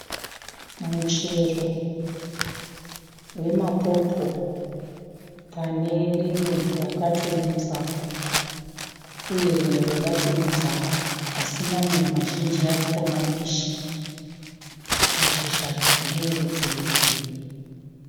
Muchero wemapopo pane rimwe rakatoibva uye rimwe roda kuibva asi mamwe mazhinji aripo mambishi. Mashizha ndeerudzi rwegirini.